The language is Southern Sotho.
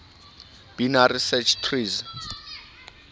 binary search trees